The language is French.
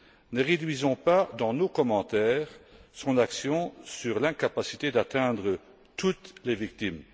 Ne réduisons pas, dans nos commentaires, son action à l'incapacité d'atteindre toutes les victimes.